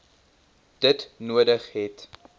dit nodig het